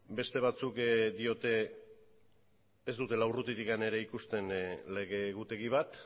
beste batzuk diote ez dutela urrutitik ere ikusten lege egutegi bat